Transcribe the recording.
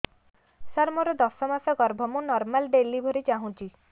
ସାର ମୋର ଦଶ ମାସ ଗର୍ଭ ମୁ ନର୍ମାଲ ଡେଲିଭରୀ ଚାହୁଁଛି